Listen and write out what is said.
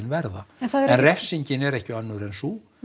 verða en refsingin er ekki önnur en sú